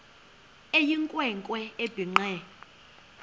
eyinkwe nkwe ebhinqe